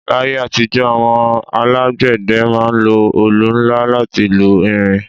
L'ayé àtijọ́, àwọn alágbẹ̀dẹ ma ń lo olù nla láti lu irin